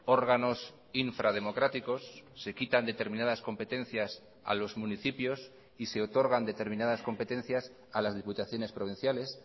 órganos infrademocráticos se quitan determinadas competencias a los municipios y se otorgan determinadas competencias a las diputaciones provinciales